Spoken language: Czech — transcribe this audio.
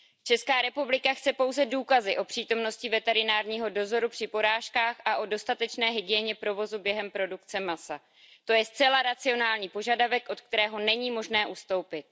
Česká republika chce pouze důkazy o přítomnosti veterinárního dozoru při porážkách a o dostatečné hygieně provozu během produkce masa. To je zcela racionální požadavek, od kterého není možno ustoupit.